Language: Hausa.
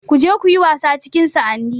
Ku je kuyi wasa cikin sa'anni